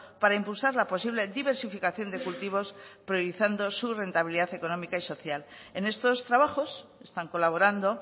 para impulsar la posible diversificación de cultivos priorizando su rentabilidad económica y social en estos trabajos están colaborando